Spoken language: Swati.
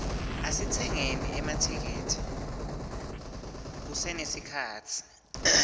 asitsengeni emathikithi kusenesikhatsi